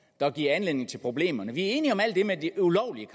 der giver anledning til problemerne vi er enige om alt det med de ulovlige